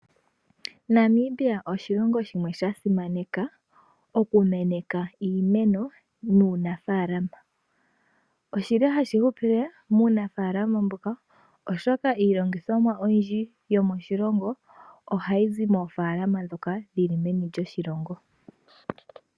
Namibia oshilongo shimwe sha simaneka oku kuna iimeno. Ohashi hupile muunafaalama mboka oshoka iilongithomwa oyindji yomoshilongo ohayi zi moofaalama ndhoka dhili meni lyoshilongo.